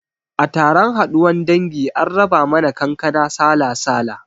A taron haduwan dangi an raba mana kankana sala-sala